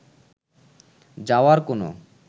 যাওয়ার কোনো